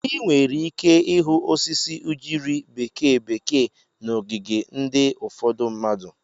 Ị nwere ike ịhụ osisi ugiri bekee bekee na ogige ndị ufodu mmadụ.